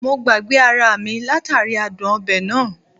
Mo gbagbe ara mi latari adun obe naa